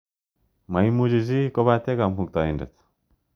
Maimuchi chi kopate Kamuktaindet.